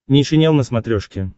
нейшенел на смотрешке